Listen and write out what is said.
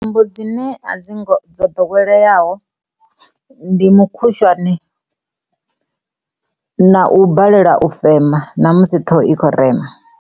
Tsumbo dzine a dzi ngo dzo ḓoweleaho ndi mukhushwane na u balelwa u fema ṋa musi ṱhoho ikho rema.